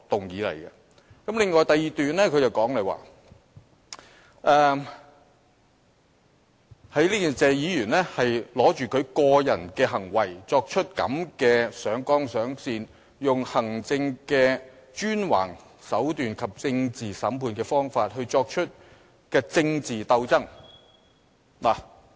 此外，在他第二段的發言中，他指謝議員抓住他個人的行為，這樣"上綱上線"、採用行政專橫的手段和政治審判的方法來作出政治鬥爭。